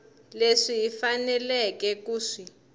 leswi hi faneleke ku swi